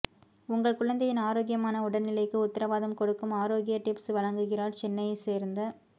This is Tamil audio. உங்கள் குழந்தையின் ஆரோக்கியமான உடல்நிலைக்கு உத்திரவாதம் கொடுக்கும் ஆரோக்கிய டிப்ஸ் வழங்குகிறார் சென்னையைச் சேர்ந்த